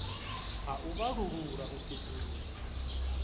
ha u vhalulula u sedzulusa